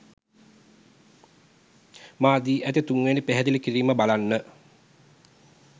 මා දී ඇති තුන්වැනි පැහැදිලි කිරීම බලන්න.